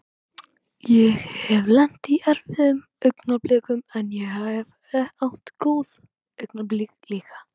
Ég hef lent í erfiðum augnablikum en ég hef átt góð augnablik líka.